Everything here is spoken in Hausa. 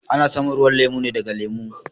A na samun ruwan lemu ne daga lemu.